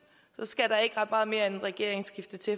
så skal der ikke ret meget mere end et regeringsskifte til